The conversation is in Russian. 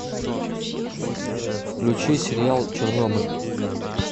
включи сериал чернобыль